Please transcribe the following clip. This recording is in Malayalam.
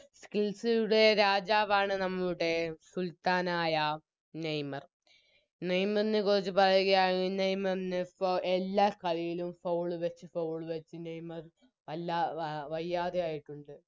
Skills കളുടെ രാജാവാണ് നമ്മളുടെ സുൽത്താനായ നെയ്‌മർ നെയ്മറിനെക്കുറിച്ച് പറയുകയാണ് നെയ്മറിനിപ്പോ എല്ലാകളിയിലും Foul വെച്ച് Foul വെച്ച് നെയ്‌മർ വല്ലാ വയ്യാതെയായിട്ടുണ്ട്